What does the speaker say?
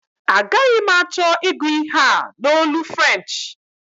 Agaghi m achọ ịgụ ihe a n'olu French